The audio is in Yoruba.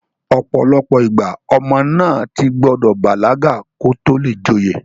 ọ̀pọ̀lọpọ̀ ìgbà, ọmọ náà ti gbọdọ̀ bàlágà kó tó le joyè